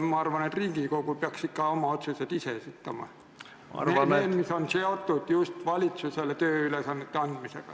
Ma arvan, et Riigikogu peaks ikka oma otsused ise esitama, need, mis on seotud just valitsusele tööülesannete andmisega.